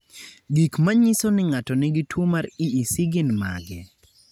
Gik manyiso ni ng'ato nigi tuwo mar EEC gin mage?